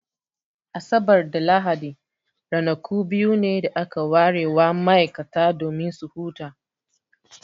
Asabar da Lahadi ranaku biyu ne da aka ware wa ma'aikata domin su huta.